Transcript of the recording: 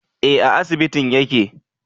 Eh a asibitin yake